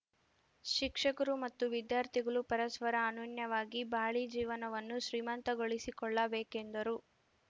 ಶಿಕ್ಷಕರು ಮತ್ತು ವಿದ್ಯಾರ್ಥಿಗಳು ಪರಸ್ಪರ ಅನೂನ್ಯವಾಗಿ ಬಾಳಿ ಜೀವನವನ್ನು ಶ್ರೀಮಂತಗೊಳಿಸಿಕೊಳ್ಳಬೇಕೆಂದರು